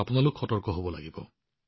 আপোনালোক কেৱল সতৰ্ক হব লাগিব